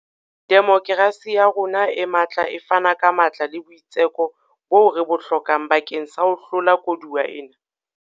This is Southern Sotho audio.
Demokerasi ya rona e matla e fana ka matla le boitseko boo re bo hlokang bakeng sa ho hlola koduwa ena.